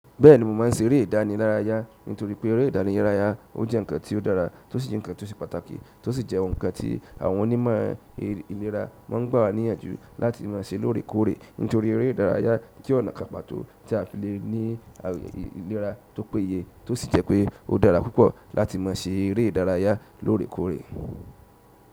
Bẹ́ẹ̀ni mo máa ń ṣe eré ìdárayá nítorí pé eré ìdárayá ó jẹ́ ǹnkan tí ó dára tó sì jẹ́ ǹnkan tó ṣe pàtàkì tó sì jẹ́ ohun kan tí àwọn onímọ̀ ìlera máa ń gbà wá níyànjú láti máa ṣe lóòrèkóòrè nítorí eré ìdárayá jẹ́ ọ̀nà kan pàtó tí a fi lè ní ìlera tó péye tó sì jẹ́ pé ó dára púpọ̀ láti máa ṣe eré ìdárayá lóòrèkóòrè.